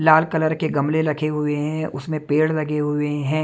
लाल colour के गमले रखे हुए हैं उसमें पेड़ लगे हुए हैं।